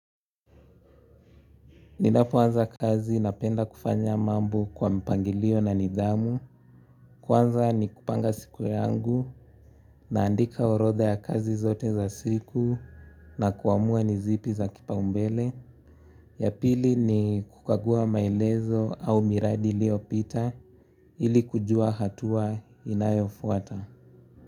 Ninapoanza kazi napenda kufanya mambo kwa mipangilio na nidhamu, kwanza ni kupanga siku yangu, naandika orodha ya kazi zote za siku na kuamua ni zipi za kipaumbele. Ya pili ni kukagua maelezo au miradi ilio pita ili kujua hatua inayo fuata.